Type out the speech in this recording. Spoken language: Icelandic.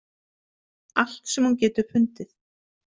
Allt sem hún getur fundið.